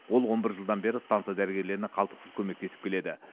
ол он бір жылдан бері станса дәрігерлеріне қалтқысыз көмектесіп келеді